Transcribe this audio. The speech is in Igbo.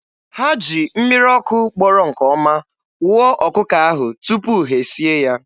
Ha ji mmiri ọkụ gbọrọ nke ọma wụọ ọkụkọ ahụ tupu ha e sie ya.